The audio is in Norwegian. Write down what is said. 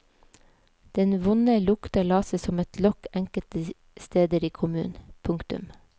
Den vonde lukta la seg som et lokk enkelte steder i kommunen. punktum